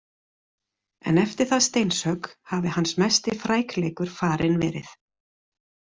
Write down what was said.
En eftir það steinshögg hafi hans mesti frækleikur farinn verið.